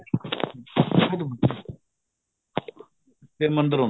ਫ਼ੇਰ ਮੰਦਿਰ ਆਉਂਦਾ